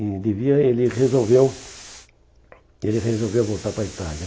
e devia ele resolveu Ele resolveu voltar para a Itália.